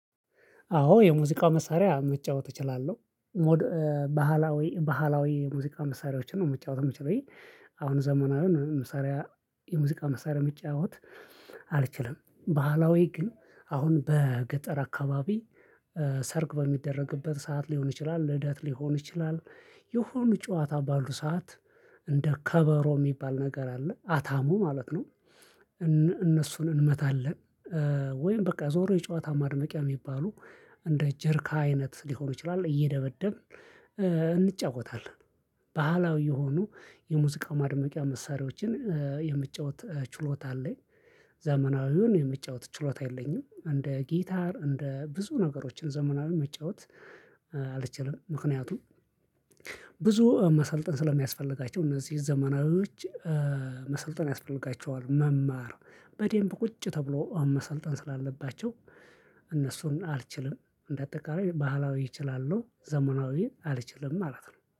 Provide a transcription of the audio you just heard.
አዎ የሙዚቃ መሳሪያ መጫወት እችላለሁ። ባህላዊ ባህላዊ የሙዚቃ መሳሪያዎችን ነው መጫወት የምችለው። አሁን ዘመዊ መሳሪያ የሙዚቃ መሳሪያ መጫወት አልችልም። ባህላዊ ግን አሁን በገጠር አካባቢ ሰርግ በሚደረግበት ሰዓት ሊሆን ይችላል፣ ልደት ሊሆን ይችላል የሆነ ጨዋታ ባሉ ሰዓት እንደ ከበሮ የሚባል ነገር አለ፣ አታሞ ማለት ነው። እነሱን እንመታለን። ወይም በቃ ዞሮ የጨዋታ ማድነቂያ የሚባሉ እንደ ጀሪካ አይነት ሊሆኑ ይችላል። እየደበደብን እንጫወታለን። ባህላዊ የሆኑ የሙዚቃ ማድመቂያ መሳሪያዎችን የመጫወት ችሎታ አለኝ። ዘመናዊውን የመጫወት ችሎታ የለኝም። እንደ ጊታር እንደ ብዙ ነገሮችን ዘመናዊውን መጫወት አልችልም። ምክንያቱም ብዙ መሰልጠን ስለሚያስፈልጋቸው እነዚህ ዘመናዊዎች መሰልጠን ያስፈልጋቸዋል። መማር በደንብ ቁጭ ተብሎ መሰልጠን ስላለባቸው እነሱን አልችልም። እንደ አጠቃላይ ባህላዊ እችላለሁ። ዘመናዊን አልችልም ማለት ነው።